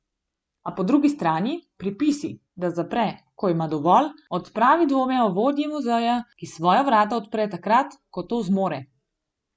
A po drugi strani pripisi, da zapre, ko ima dovolj, odpravi dvome o vodji muzeja, ki svoja vrata odpre takrat, ko to zmore.